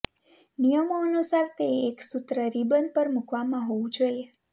નિયમો અનુસાર તે એક સૂત્ર રિબન પર મૂકવામાં હોવું જોઈએ